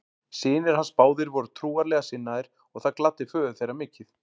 Synir hans báðir voru trúarlega sinnaðir og það gladdi föður þeirra mikið.